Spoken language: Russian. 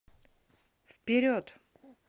вперед